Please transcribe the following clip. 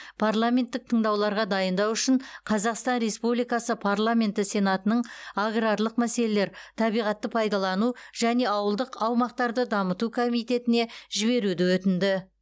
парламенттік тыңдауларға дайындау үшін қазақстан республикасы парламенті сенатының аграрлық мәселелер табиғатты пайдалану және ауылдық аумақтарды дамыту комитетіне жіберуді өтінді